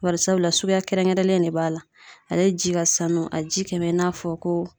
Barisabula suguya kɛrɛnkɛrɛnlen de b'a la . Ale ji ka sanu a ji kɛ bɛ i n'a fɔ ko